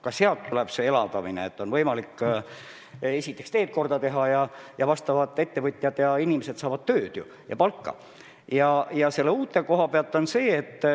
Ka sellest tuleb majanduse elavdamine, et on võimalik esiteks teed korda teha ja teiseks, need ettevõtted saavad tööd ja inimesed palka.